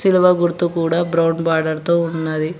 గుర్తు కూడా brown border తో ఉన్నది.